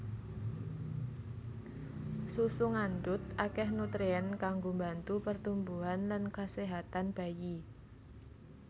Susu ngandhut akèh nutrien kanggo mbantu pertumbuhan lan kaséhatan bayi